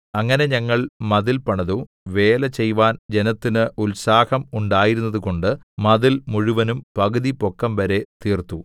അങ്ങനെ ഞങ്ങൾ മതിൽ പണിതു വേലചെയ്‌വാൻ ജനത്തിന് ഉത്സാഹം ഉണ്ടായിരുന്നതുകൊണ്ട് മതിൽ മുഴുവനും പകുതി പൊക്കംവരെ തീർത്തു